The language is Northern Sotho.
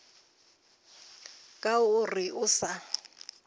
ka o reng a sa